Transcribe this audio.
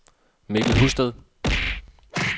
Mikkel Husted